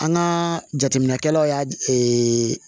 An ka jateminɛkɛlaw y'a